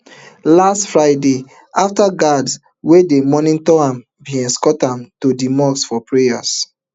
last friday afta guards wey dey monitor am bin escort am to di mosque for prayers